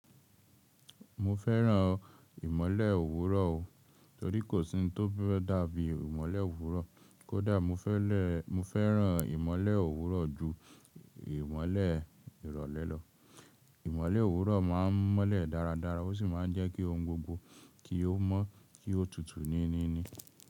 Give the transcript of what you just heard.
Mo fẹ́ràn ìmole òwúrọ̀ o, torí kò sí ohun tó fe daa bí ìmole òwúrọ̀. Kódà mo fẹ́ràn ìmole òwúrọ̀ ju ìmole ìrọ̀lẹ́ lọ. Ìmole òwúrọ̀ má n mọ́lẹ̀ dáradára o sí má n jẹ́ ki ohun gbogbo kí o mọ́, kí o tutù níníni.